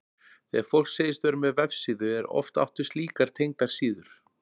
Þegar fólk segist vera með vefsíðu er oft átt við slíkar tengdar síður.